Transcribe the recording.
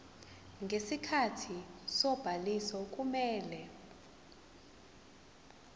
ngesikhathi sobhaliso kumele